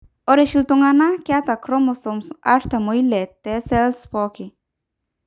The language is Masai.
Ore oshi iltung'anak keeta inchromosomes artam oile te pooki cell.